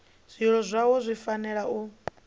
zwililo zwavho zwi fanela u